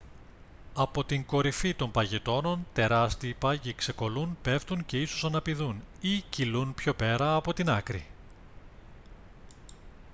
από την κορυφή των παγετώνων τεράστιοι πάγοι ξεκολλούν πέφτουν και ίσως αναπηδούν ή κυλούν πιο πέρα από την άκρη